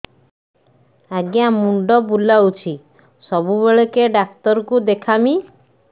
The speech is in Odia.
ଆଜ୍ଞା ମୁଣ୍ଡ ବୁଲାଉଛି ସବୁବେଳେ କେ ଡାକ୍ତର କୁ ଦେଖାମି